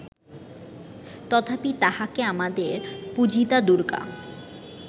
তথাপি তাঁহাকে আমাদের পূজিতা দুর্গা